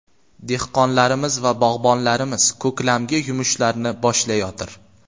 Dehqonlarimiz va bog‘bonlarimiz ko‘klamgi yumushlarni boshlayotir.